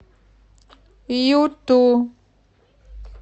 юту